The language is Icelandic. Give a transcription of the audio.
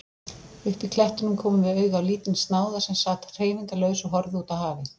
Uppí klettunum komum við auga á lítinn snáða sem sat hreyfingarlaus og horfði útá hafið.